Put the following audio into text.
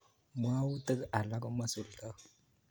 Mwautik alak komaisuldoi